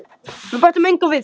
Við bætum engu við.